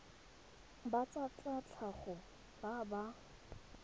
ba tsa tlhago ba ba